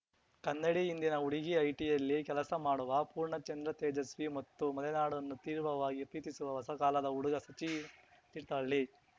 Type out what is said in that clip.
ಕನ್ನಡಿ ಹಿಂದಿನ ಹುಡುಗಿ ಐಟಿಯಲ್ಲಿ ಕೆಲಸ ಮಾಡುವ ಪೂರ್ಣಚಂದ್ರ ತೇಜಸ್ವಿ ಮತ್ತು ಮಲೆನಾಡನ್ನು ತೀವ್ರವಾಗಿ ಪ್ರೀತಿಸುವ ಹೊಸ ಕಾಲದ ಹುಡುಗ ಸಚಿನ್‌ ತೀರ್ಥಹಳ್ಳಿ